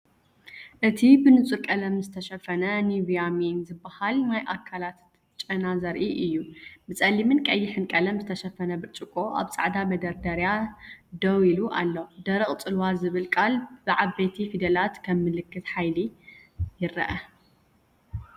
እቲ ብንጹር ቀለም ዝተሸፈነ ኒቭያ ሜን ዝበሃል ናይ ኣካላት ጨና ዘርኢ እዩ። ብጸሊምን ቀይሕን ቀለም ዝተሸፈነ ብርጭቆ ኣብ ጻዕዳ መደርደሪ ደው ኢሉ ኣሎ፤ ‘ደረቕ ጽልዋ’ ዝብል ቃል ብዓበይቲ ፊደላት ከም ምልክት ሓይሊ ይረአ።